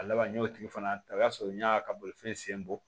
A laban n y'o tigi fana ta o y'a sɔrɔ n y'a ka bolifɛn sen bɔ